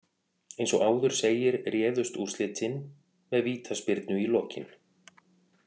Eins og áður segir réðust úrslitin með vítaspyrnu í lokin.